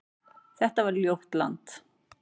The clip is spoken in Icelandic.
Þetta var ljótt land.